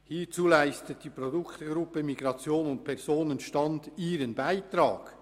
Hierzu leistet die Produktgruppe Migration und Personenstand ihren Beitrag.